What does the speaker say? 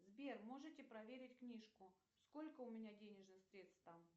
сбер можете проверить книжку сколько у меня денежных средств там